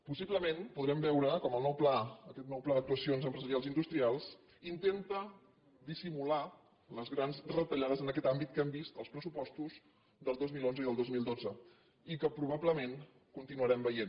possiblement podrem veure com el nou pla aquest nou pla d’actuacions empresarials i industrials in·tenta dissimular les grans retallades en aquest àmbit que hem vist als pressupostos del dos mil onze i del dos mil dotze i que probablement continuarem veient